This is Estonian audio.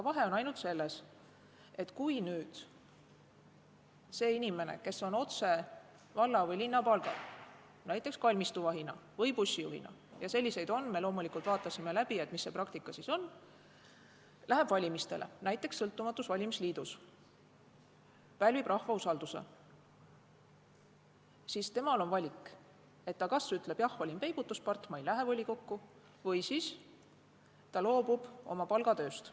Vahe on ainult selles, et kui nüüd inimene, kes on otse valla või linna ametiasutuse palgal, näiteks kalmistuvahina või bussijuhina, ja selliseid on – me loomulikult vaatasime läbi, mis see praktika siis on –, läheb valimistele näiteks sõltumatus valimisliidus, pälvib rahva usalduse, siis tal on valik, et ta kas ütleb, jah, olin peibutuspart, ma ei lähe volikokku, või ta loobub oma palgatööst.